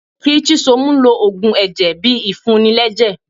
kí chisom lò òògùn ẹjẹ bí ìfuní lẹjẹ